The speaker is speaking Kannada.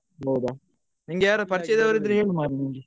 ಹೌದಾ ನಿಂಗೆ ಯಾರ್ ಪರಿಚಯದವ್ರು ಇದ್ರೆ ಹೇಳ್ ಮಾರಾಯ ನಂಗೆ.